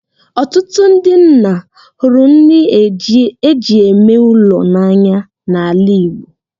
“Ọtụtụ ndị nna hụrụ nri e ji eme ụlọ n’anya n’ala Igbo